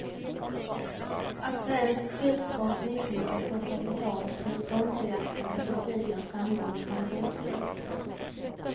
Att svensk skidsport misslyckats så kapitalt med sponsorjakten efter tidigare framgångar är gåtfullt.